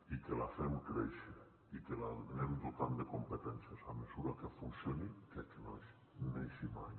i que la fem créixer i que l’anem dotant de competències a mesura que funcioni que a que no neixi mai